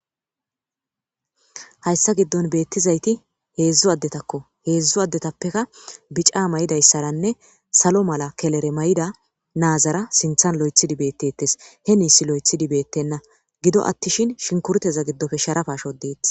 Hayssa giddon beettizayti heedzdzu addetakko heedzdzu addetappeka bica maydayssaranne salo mala kelere may'ida naazara sinthan lo'ethidi beettetes he niis lo'ethidi beettenna gido attishin shinkurteza giddofe sharapasho deettis.